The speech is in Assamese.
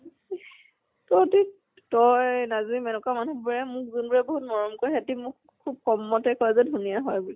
তই নাজমিন এনেকুৱা মানুহ বোৰে মোক যোন বোৰে বহুত মৰম কৰে ইহতে মোক খুব কম মতে কয় যে ধুনীয়া হয় বুলে।